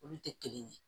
Olu tɛ kelen ye